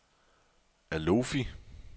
Alofi